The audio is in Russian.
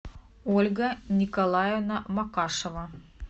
ольга николаевна макашева